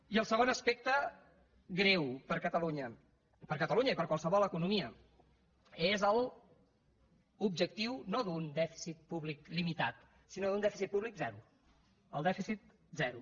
i el segon aspecte greu per a catalunya per a catalunya i per a qualsevol economia és l’objectiu no d’un dèficit públic limitat sinó d’un dèficit públic zero el dèficit zero